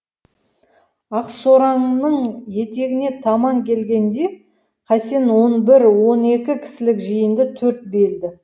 ақсораңның етегіне таман келгенде қасен он бір он екі кісілік жиынды төрт белді